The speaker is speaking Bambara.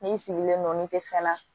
N'i sigilen don ni te fɛn na